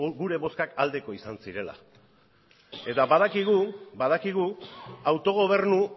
gure bozkak aldekoak izan zirela eta badakigu autogobernu